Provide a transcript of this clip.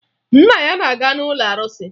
Nna ya na-aga n'ụlọ arụsị